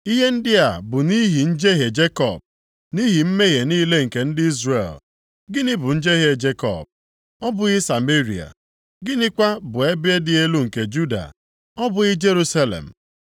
Ihe ndị a bụ nʼihi njehie Jekọb, nʼihi mmehie niile nke ndị Izrel. Gịnị bụ njehie Jekọb? Ọ bụghị Sameria? Gịnịkwa bụ ebe dị elu nke Juda? Ọ bụghị Jerusalem?